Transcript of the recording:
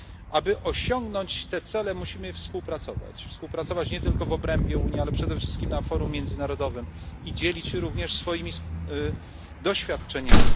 Aby osiągnąć te cele musimy współpracować, współpracować nie tylko w obrębie Unii, ale przede wszystkim na forum międzynarodowym i dzielić się również swoimi doświadczeniami.